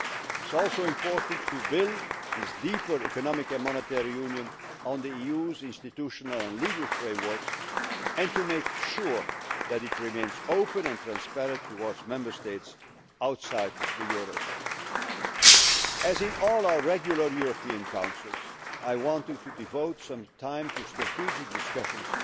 It is also important to build this deeper economic and monetary union on the EU's institutional and legal frameworks, and to make sure that it remains open and transparent towards Member States outside the eurozone. As in all our regular European Councils, I wanted to devote some time to strategic discussions